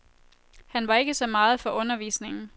Han var ikke så meget for undervisningen.